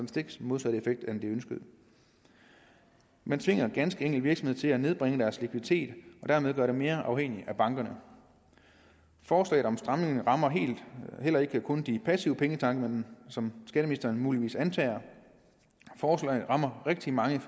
stik modsatte effekt end den ønskede man tvinger ganske enkelt virksomhederne til at nedbringe deres likviditet og dermed gøre dem mere afhængige af bankerne forslaget om en stramning rammer heller ikke kun de passive pengetanke som skatteministeren muligvis antager forslaget rammer rigtig mange